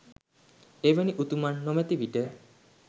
එවැනි උතුමන් නොමැති විට